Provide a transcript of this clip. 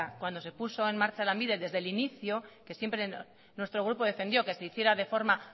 cuando se puso en marcha lanbide desde el inicio que siempre nuestro grupo defendió que se hiciera de forma